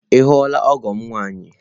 Ị hụla ọgọ m nwaanyị?